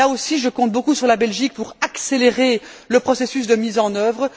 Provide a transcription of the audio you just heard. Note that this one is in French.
Là aussi, je compte beaucoup sur la Belgique pour accélérer le processus de mise en œuvre.